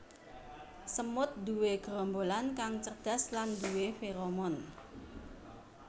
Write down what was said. Semut nduwe gerombolan kang cerdas lan nduwé feromon